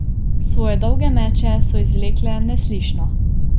Svoje dolge meče so izvlekle neslišno.